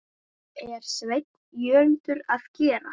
er Sveinn Jörundur að gera?